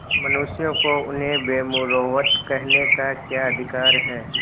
मनुष्यों को उन्हें बेमुरौवत कहने का क्या अधिकार है